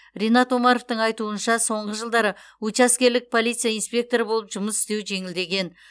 ринат омаровтың айтуынша соңғы жылдары учаскелік полиция инспекторы болып жұмыс істеу жеңілдеген